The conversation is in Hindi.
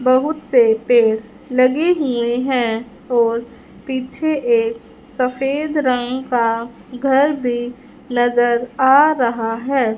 बहुत से पेड़ लगे हुए हैं और पीछे एक सफेद रंग का घर भी नज़र आ रहा है।